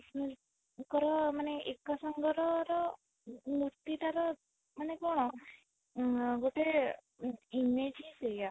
ଙ୍କର ମାନେ ଏକା ସାଙ୍ଗର ର ମୂର୍ତ୍ତି ଟାର ମାନେ କଣ ଉଁ ଗୋଟେ image ହିଁ ସେଇୟା